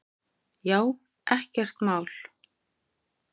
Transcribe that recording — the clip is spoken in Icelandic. Já, ekkert mál!